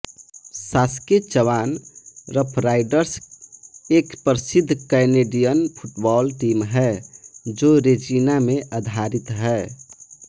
Saskatchewan Roughriders एक प्रसिद्ध Canadian football team है जो रेजिना में आधारित है